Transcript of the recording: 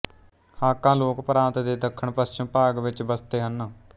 Hakka ਲੋਕ ਪ੍ਰਾਂਤ ਦੇ ਦੱਖਣ ਪਸ਼ਚਮ ਭਾਗ ਵਿੱਚ ਬਸਤੇ ਹਨ